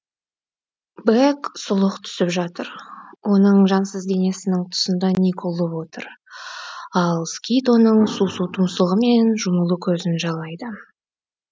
бэк сұлық түсіп жатыр оның жансыз денесінің тұсында ниг ұлып отыр ал скит оның су су тұмсығы мен жұмулы көзін жалайды